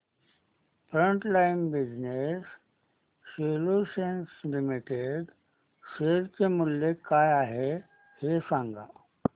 frontline business solutions limited share चे मूल्य काय आहे हे सांगा